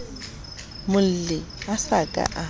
molli a sa ka a